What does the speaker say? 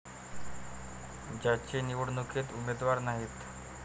ज्यांचे निवडणुकीत उमेदवार नाहीत.